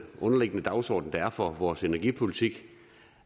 underliggende dagsorden der er for vores energipolitik